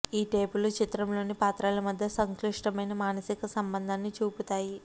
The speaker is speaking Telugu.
ఈ టేపులు చిత్రంలోని పాత్రల మధ్య సంక్లిష్టమైన మానసిక సంబంధాన్ని చూపుతాయి